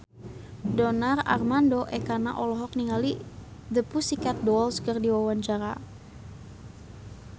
Donar Armando Ekana olohok ningali The Pussycat Dolls keur diwawancara